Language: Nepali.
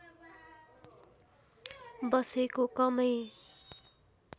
बसेको कमै